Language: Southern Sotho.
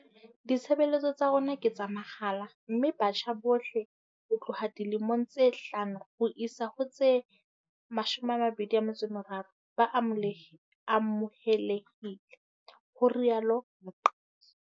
Ditshebeletso tsa rona ke tsa mahala mme batjha bohle ho tloha dilemong tse hlano ho isa ho tse 23 ba amohelehile, ho rialo Mqadi.